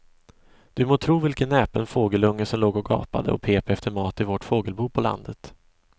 Du må tro vilken näpen fågelunge som låg och gapade och pep efter mat i vårt fågelbo på landet.